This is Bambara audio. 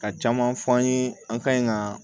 Ka caman fɔ an ye an ka ɲi ka